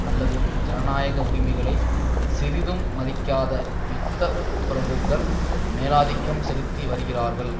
அல்லது ஜனநாயக உரிமைகளை சிறிதும் மதிக்காத யுத்த பிரபுக்கள் மேலாதிக்கம் செலுத்தி வருகிறார்கள்